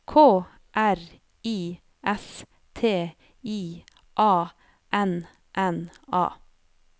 K R I S T I A N N A